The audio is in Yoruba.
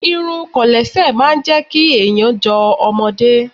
Irun Kòlẹ́sẹ̀ máa jẹ́ kí èèyàn jọ ọmọdé